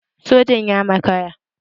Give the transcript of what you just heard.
Sojan ya makara